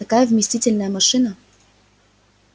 такая вместительная машина